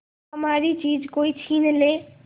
हमारी चीज कोई छीन ले